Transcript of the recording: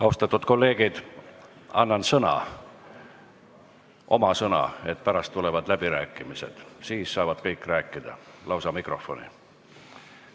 Austatud kolleegid, annan sõna – oma sõna –, et pärast tulevad läbirääkimised, siis saavad kõik rääkida lausa mikrofoni.